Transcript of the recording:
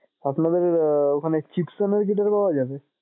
আপনাদের ওখানে Chipson এর guitar পাওয়া যাবে?